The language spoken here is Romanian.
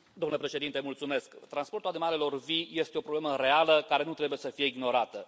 Domnule președinte, transportul animalelor vii este o problemă reală, care nu trebuie să fie ignorată.